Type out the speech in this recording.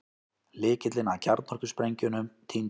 Lykillinn að kjarnorkusprengjunum týndist